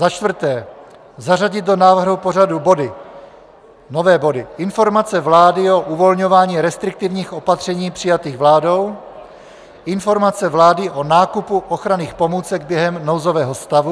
Za čtvrté, zařadit do návrhu pořadu body, nové body: Informace vlády o uvolňování restriktivních opatření přijatých vládou, Informace vlády o nákupu ochranných pomůcek během nouzového stavu.